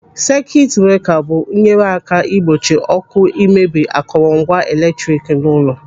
Sekit breka bụ nyere aka ịgbochi ọ́kụ́ imebi akọrọ ngwa eletrik n'ụlọ.